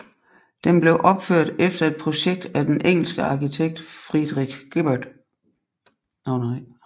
Den blev opført efter et projekt af den engelske arkitekt Frederick Gibberd